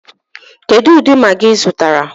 Kedụ ụdị Magị ị zụrụ?